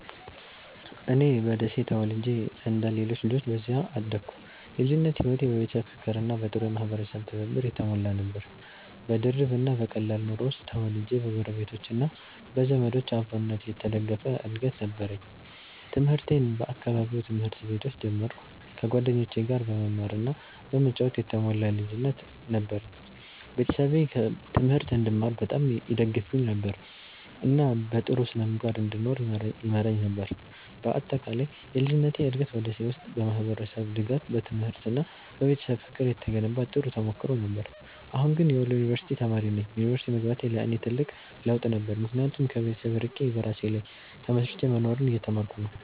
እኔ በደሴ ተወልጄ እንደ ሌሎች ልጆች በዚያ አደግኩ። የልጅነቴ ሕይወት በቤተሰብ ፍቅርና በጥሩ የማህበረሰብ ትብብር የተሞላ ነበር። በድርብ እና በቀላል ኑሮ ውስጥ ተወልጄ በጎረቤቶች እና በዘመዶች አብሮነት የተደገፈ እድገት ነበረኝ። ትምህርቴን በአካባቢው ትምህርት ቤቶች ጀመርኩ፣ ከጓደኞቼ ጋር በመማር እና በመጫወት የተሞላ ልጅነት ነበረኝ። ቤተሰቤ ትምህርት እንድማር በጣም ይደግፉኝ ነበር፣ እና በጥሩ ስነ-ምግባር እንድኖር ይመራኝ ነበር። በአጠቃላይ የልጅነቴ እድገት በ ደሴ ውስጥ በማህበረሰብ ድጋፍ፣ በትምህርት እና በቤተሰብ ፍቅር የተገነባ ጥሩ ተሞክሮ ነበር። አሁን ግን የወሎ ዩንቨርስቲ ተማሪ ነኝ። ዩኒቨርሲቲ መግባቴ ለእኔ ትልቅ ለውጥ ነበር፣ ምክንያቱም ከቤተሰብ ርቄ በራሴ ላይ ተመስርቼ መኖርን እየተማርኩ ነው።